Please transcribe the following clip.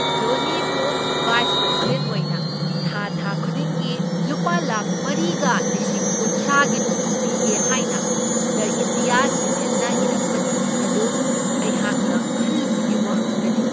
ꯙꯣꯅꯤꯕꯨ vice president ꯑꯣꯏꯅ ꯊꯥ ꯊꯥ ꯈꯨꯗꯤꯡꯒꯤ ꯂꯨꯄꯥ ꯂꯥꯛꯈ ꯃꯔꯤꯒ ꯂꯤꯁꯤꯡ ꯀꯨꯟꯊ꯭ꯔꯥꯒꯤ ꯇꯣꯂꯣꯞ ꯄꯤꯒꯦ ꯍꯥꯏꯅ ꯗ ꯏꯟꯗꯤꯌꯥ ꯁꯤꯃꯦꯟꯠꯅ ꯏꯔꯛꯄ ꯆꯤꯊꯤ ꯑꯗꯨ ꯑꯩꯍꯥꯛꯅ ꯈꯜꯂꯨꯕꯒꯤ ꯋꯥꯡꯃꯗ ꯂꯩ꯫